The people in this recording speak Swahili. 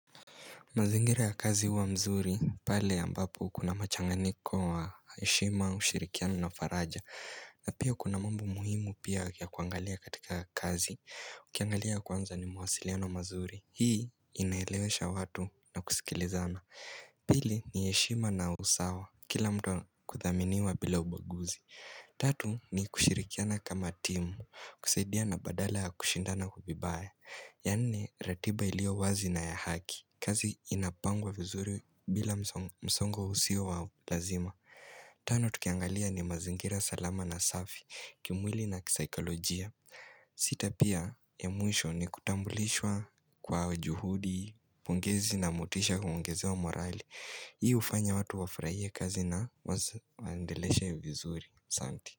Mazingira ya kazi huwa mzuri, pale ambapo kuna machanganiko wa heshima, ushirikiano na faraja na pia kuna mambo muhimu pia ya kuangalia katika kazi, ukiangalia kwanza ni mawasiliano mazuri Hii inaelewesha watu na kusikilizana Pili ni heshima na usawa, kila mtu kudhaminiwa bila ubaguzi Tatu ni kushirikiana kama timu, kusaidia na badala ya kushindana vibaya ya nne ratiba ilio wazi na ya haki kazi inapangwa vizuri bila msongo usio wa lazima Tano tukiangalia ni mazingira salama na safi kimwili na kisaikolojia sita pia ya mwisho ni kutambulishwa kwa juhudi pongezi na motisha huongezewa morali Hii hufanya watu wafurahie kazi basi waendelesha vizuri Santi.